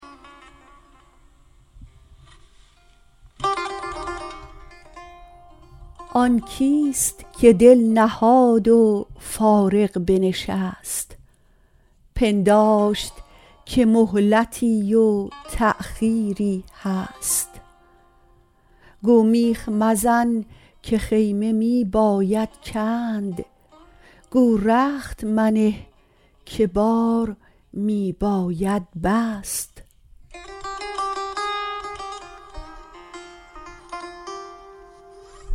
آن کیست که دل نهاد و فارغ بنشست پنداشت که مهلتی و تأخیری هست گو میخ مزن که خیمه می باید کند گو رخت منه که بار می باید بست